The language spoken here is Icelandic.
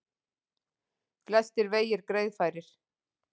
Flestir vegir greiðfærir